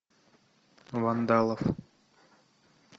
вандалов